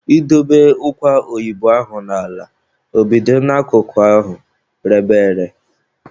I dobe ụkwa oyibo ahụ n'ala, ọ bido n'akụkụ ahụ rebe ere.